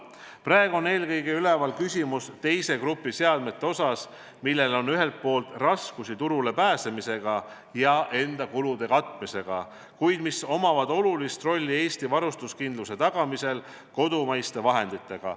Praegu on eelkõige üleval küsimus seoses teise grupi seadmetega, mille kasutamine tähendab ühelt poolt raskusi turule pääsemisega ja oma kulude katmisega, kuid neil on oluline roll Eesti varustuskindluse tagamisel kodumaiste vahenditega.